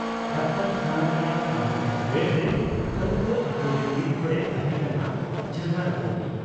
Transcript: ᱰᱟᱠᱛᱚᱨᱠᱷᱟᱱᱟ ᱨᱮᱭᱟᱜ ᱟᱨᱢᱤᱫᱴᱟᱹᱝ ᱵᱮᱰᱨᱮ ᱦᱟᱹᱛᱠᱟᱹ ᱟᱹᱛᱩᱨᱤᱱ ᱢᱤᱫ ᱦᱚᱲᱮ ᱛᱟᱦᱮᱸ ᱠᱟᱱᱟ ᱡᱟᱝᱜᱟ ᱨᱟᱹᱯᱩᱫᱤᱡ ᱾